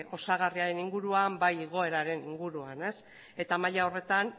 osagarriaren inguruan bai igoeraren inguruan eta maila horretan